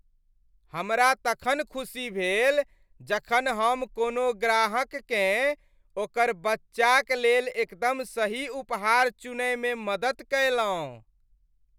हमरा तखन खुशी भेल जखन हम कोनो ग्राहक केँ ओकर बच्चाक लेल एकदम सही उपहार चुनय मे मदद कयलहुँ।